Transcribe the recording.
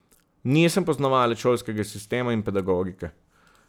Nisem poznavalec šolskega sistema in pedagogike.